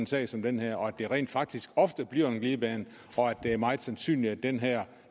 sag som den her og at det rent faktisk ofte bliver en glidebane og at det er meget sandsynligt at den her